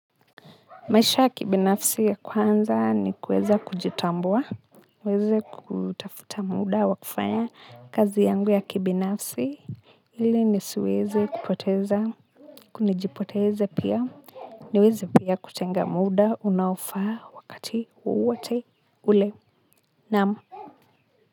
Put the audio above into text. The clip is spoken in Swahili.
Maisha ya kibinafsi ya kwanza ni kuweza kujitambua niweze kutafuta muda wa kufanya kazi yangu ya kibinafsi ili nisiweze kupoteza kujipoteza pia niweze pia kutenga muda unaofaa wakati wowote ule, naam.